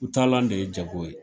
U taalan de ye jago ye.